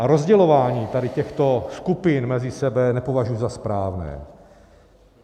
A rozdělování tady těchto skupin mezi sebou nepovažuji za správné.